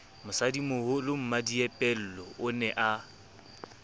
mosadimoholo mmadiepollo o ne a